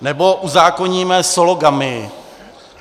Nebo uzákoníme sologamii.